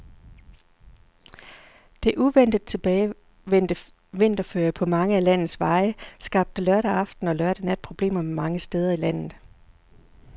Det uventet tilbagevendte vinterføre på mange af landets veje skabte lørdag aften og lørdag nat problemer mange steder i landet.